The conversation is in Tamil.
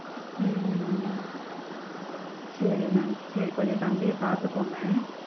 ஹம் சேரி ma'am சேரி கொஞ்சம் தம்பிய பாத்துக்கோங்க.